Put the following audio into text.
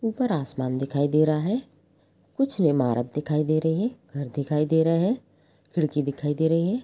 ऊपर आसमान दिखाई दे रहा है कुछ ईमारत दिखाई दे रही है घर दिखाई दे रहा है खिड़की दिखाई दे रही हैऊपर आसमान दिखाई दे रहा है।